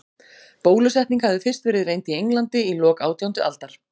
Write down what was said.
Bólusetning hafði fyrst verið reynd í Englandi í lok átjándu aldar.